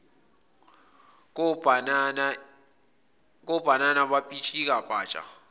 kobhanana bapitshika patsha